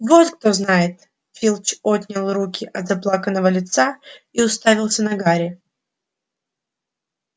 вот кто знает филч отнял руки от заплаканного лица и уставился на гарри